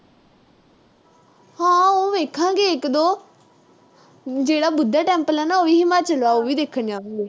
ਹਾ ਉਹ ਵੇਖਾਂਗੇ ਇੱਕ ਜਿਹੜਾ ਬੁੱਧਾ temple ਆ ਨਾ, ਹਿਮਾਚਲ ਵਾਲਾ, ਉਹ ਵੀ ਦੇਖਣ ਜਾਵਾਂਗੇ